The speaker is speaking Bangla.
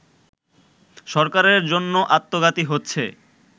সরকারের জন্য আত্মঘাতী হচ্ছে